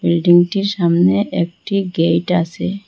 বিল্ডিংটির সামনে একটি গেট আসে।